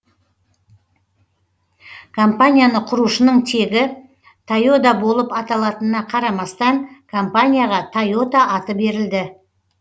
компанияны құрушының тегі тойода болып аталатынына қарамастан компанияға тойота аты берілді